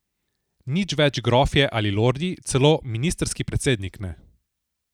Nič več grofje ali lordi, celo ministrski predsednik ne.